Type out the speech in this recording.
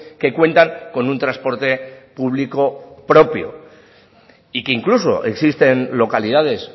que cuentan con un transporte público propio y que incluso existen localidades